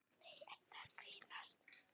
Nei, ertu að grínast?